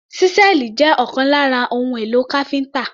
Ṣísẹ́ẹ̀lì jẹ́ ọ̀kan lára àwọn ohun èlò káfíńtà.